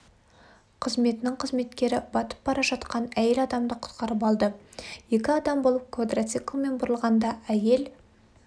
қызметінің қызметкері батып бара жатқан әйел адамды құтқарып алды екі адам болып квадрациклмен бұрылғанда айел